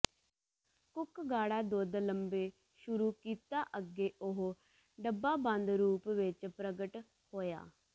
cook ਗਾੜਾ ਦੁੱਧ ਲੰਬੇ ਸ਼ੁਰੂ ਕੀਤਾ ਅੱਗੇ ਉਹ ਡੱਬਾਬੰਦ ਰੂਪ ਵਿੱਚ ਪ੍ਰਗਟ ਹੋਇਆ